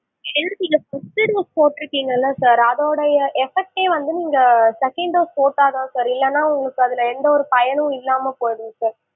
ஏன்னா நீங்க first shield போட்டு இருக்கீங்கல அதோட effect டே வந்து நீங்க second dose போட்டா தான் sir இல்லன்னா உங்களுக்கு அதுல எந்த ஒரு பயனும் இல்லாம போயிடும் sir